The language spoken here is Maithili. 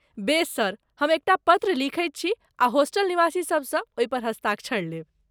बेस सर, हम एकटा पत्र लिखैत छी आ होस्टल निवासीसभसँ ओहि पर हस्ताक्षर लेब।